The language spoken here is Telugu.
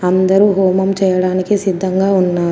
అందరూ హోమం చేయడానికి సిద్ధంగా ఉన్నారు.